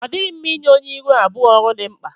Ọ dịghị mma ịnye onye ịrụ abụọ ọrụ dị mkpa.